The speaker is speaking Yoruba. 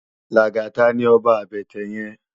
Lagata ni òbá àbètè yèn